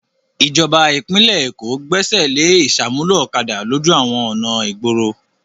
Ìjọba ìpínlẹ̀ Èkó Gbẹ́sẹ̀ lé ìṣàmúlò ọ̀kadà lójú àwọn ọ̀nà ìgboro.